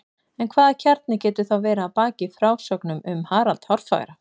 En hvaða kjarni getur þá verið að baki frásögnum um Harald hárfagra?